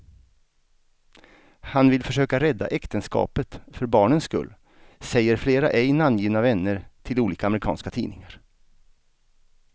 Han vill försöka rädda äktenskapet för barnens skull, säger flera ej namngivna vänner till olika amerikanska tidningar.